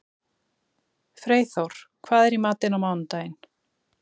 Freyþór, hvað er í matinn á mánudaginn?